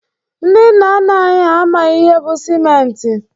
Ndị nna nna anyi ha amaghi ihe bụ sịmenti.